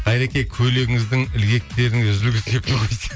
қайреке көйлегіңіздің ілгектеріңіз үзілгісі келіп тұр ғой дейді